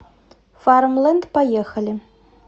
фармленд поехали